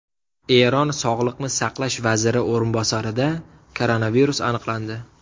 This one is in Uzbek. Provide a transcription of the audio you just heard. Eron sog‘liqni saqlash vaziri o‘rinbosarida koronavirus aniqlandi.